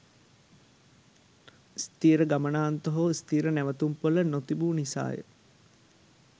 ස්ථීර ගමනාන්ත හෝ ස්ථීර නැවතුම්පොළ නොතිබූ නිසාය